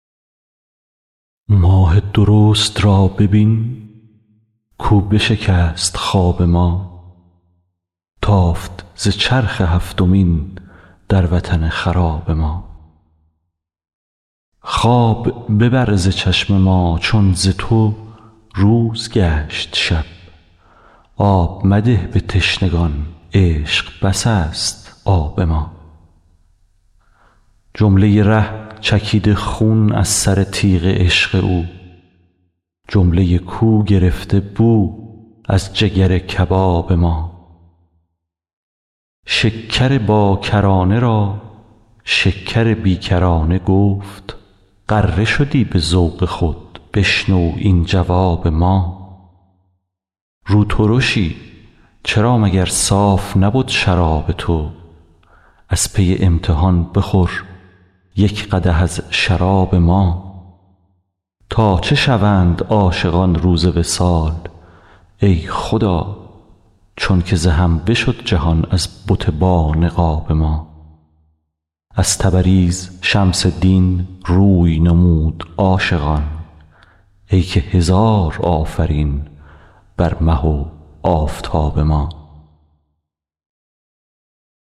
ماه درست را ببین کاو بشکست خواب ما تافت ز چرخ هفتمین در وطن خراب ما خواب ببر ز چشم ما چون ز تو روز گشت شب آب مده به تشنگان عشق بس است آب ما جمله ی ره چکیده خون از سر تیغ عشق او جمله ی کو گرفته بو از جگر کباب ما شکر باکرانه را شکر بی کرانه گفت غره شدی به ذوق خود بشنو این جواب ما روترشی چرا مگر صاف نبد شراب تو از پی امتحان بخور یک قدح از شراب ما تا چه شوند عاشقان روز وصال ای خدا چونک ز هم بشد جهان از بت بانقاب ما از تبریز شمس دین روی نمود عاشقان ای که هزار آفرین بر مه و آفتاب ما